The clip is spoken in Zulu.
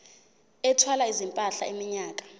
ethwala izimpahla iminyaka